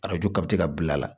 Arajo kati ka bila a la